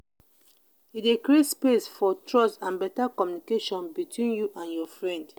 e de create space for trust and better communication between you and your friend